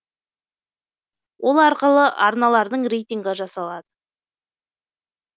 ол арқылы арналардың рейтингі жасалады